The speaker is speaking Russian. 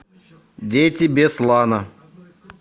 дети беслана